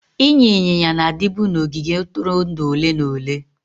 Ịnya ịnyịnya na-adịbu na ogige ntụrụndụ ole na ole.